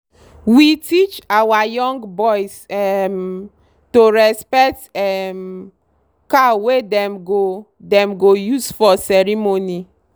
we teach our young boys um to respect um cow wey dem go dem go use for ceremony.